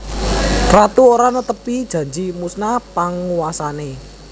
Ratu ora netepi janji musna panguwasane